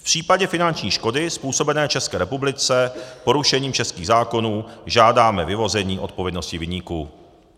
V případě finanční škody způsobené České republice porušením českých zákonů žádáme vyvození odpovědnosti viníků."